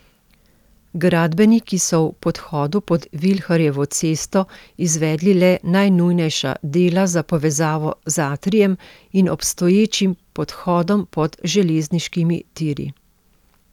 Gradbeniki so v podhodu pod Vilharjevo cesto izvedli le najnujnejša dela za povezavo z atrijem in obstoječim podhodom pod železniškimi tiri.